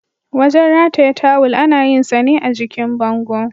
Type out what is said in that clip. Wajen rataye tawil ana yinsa ne a jikin bango.